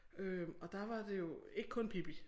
Øh og der var det jo ikke kun Pippi